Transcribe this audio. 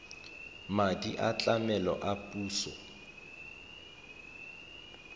madi a tlamelo a puso